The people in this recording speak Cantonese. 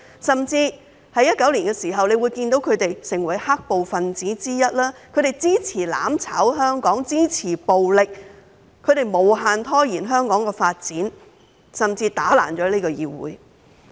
在2019年，他們甚至成為"黑暴"分子之一，支持"攬炒"香港，支持暴力，無限拖延香港的發展，甚至打爛這個議會。